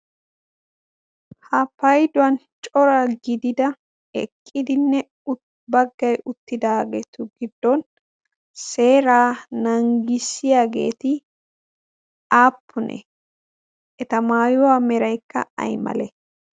ha payduwan cora gidida eqqidinne ut baggay uttidaageetu giddon seeraa nanggissiyaageeti aappune? eta maayuwaa meraekka ay male?